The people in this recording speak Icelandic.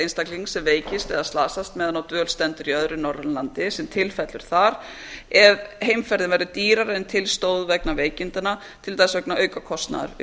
einstaklings sem veikist eða slasast meðan á dvöl stendur í öðru norrænu landi sem til fellur þar ef heimferðin verður dýrari en til stóð vegna veikindanna til dæmis vegna aukakostnaðar við